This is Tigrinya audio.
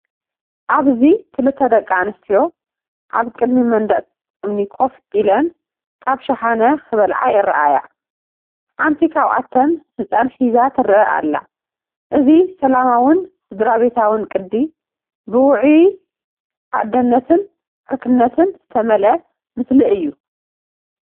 ኣብዚ ክልተ ደቂ ኣንስትዮ ኣብ ቅድሚ መንደቕ እምኒ ኮፍ ኢለን ካብ ሸሓነ ክበልዓ ይረኣያ። ሓደ ካብኣተን ህጻን ሒዛ ትረአ ኣላ። እዚ ሰላማውን ስድራቤታውን ቅዲ፡ ብውዑይ ኣደነትን ዕርክነትን ዝተመልአ ምስሊ እዩ።